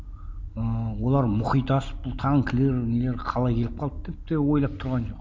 ыыы олар мұхит асып бұл танкілер нелер қалай келіп қалды деп де ойлап тұрған жоқ